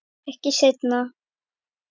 Ekki seinna.